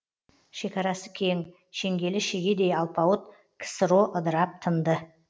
шекарасы кең шеңгелі шегедей алпауыт ксро ыдырап тынды